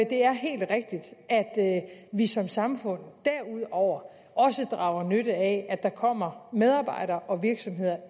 det er helt rigtigt at vi som samfund derudover også drager nytte af at der kommer medarbejdere og virksomheder